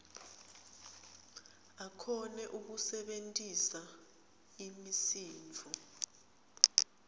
akhone kusebentisa imisindvo